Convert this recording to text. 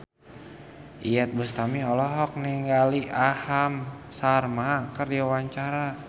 Iyeth Bustami olohok ningali Aham Sharma keur diwawancara